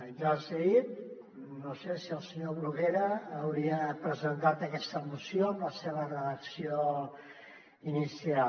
ja els hi he dit no sé si el senyor bruguera hauria presentat aquesta moció amb la seva redacció inicial